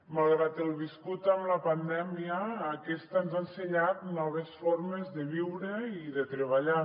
malgrat el viscut amb la pandèmia aquesta ens ha ensenyat noves formes de viure i de treballar